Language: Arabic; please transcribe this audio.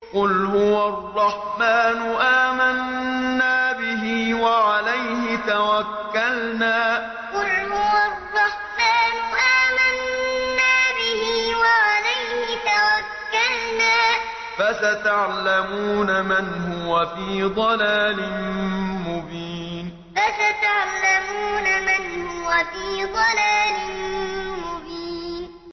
قُلْ هُوَ الرَّحْمَٰنُ آمَنَّا بِهِ وَعَلَيْهِ تَوَكَّلْنَا ۖ فَسَتَعْلَمُونَ مَنْ هُوَ فِي ضَلَالٍ مُّبِينٍ قُلْ هُوَ الرَّحْمَٰنُ آمَنَّا بِهِ وَعَلَيْهِ تَوَكَّلْنَا ۖ فَسَتَعْلَمُونَ مَنْ هُوَ فِي ضَلَالٍ مُّبِينٍ